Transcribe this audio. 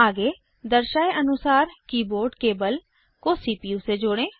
आगे दिखाए गए की तरह कीबोर्ड केबल को सीपीयू से जोड़ें